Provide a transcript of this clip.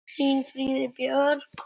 Þín Fríða Björk.